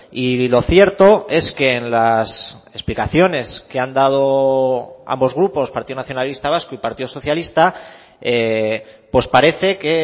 y lo cierto es que en las explicaciones que han dado ambos grupos partido nacionalista vasco y partido socialista pues parece que